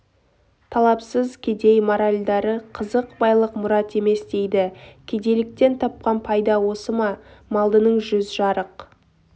талапсыз кедей моральдары қызық байлық мұрат емес дейді кедейліктен тапқан пайда осы ма малдының жүз жарық